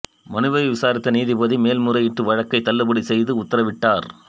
மனுவை விசாரித்த நீதிபதி மேல்முறையீட்டு வழக்கை தள்ளுபடி செய்து உத்தரவிட்டார்